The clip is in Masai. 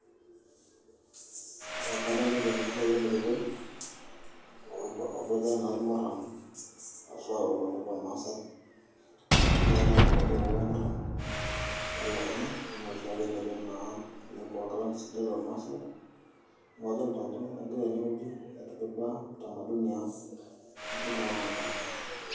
Kadolita enkiti ayioni kiti oboitare naa irmurran oshi ake tolosho lormaasai negira naa airoroki kulo murran telukunya enaa oshiake eniko naa ele kuak lang' sidai lormaasai neeku adolta ajo egirai tenewueji aitaduaya utamaduni ang' enkutuk ang' ormaasai.